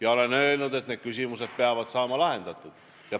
Ma olen öelnud, et need küsimused peavad saama lahendatud.